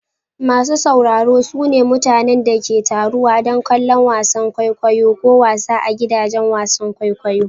Masu sauraro su ne mutanen da ke taruwa don kallon wasan kwaikwayo ko wasa a gidajen wasan kwaikwayo.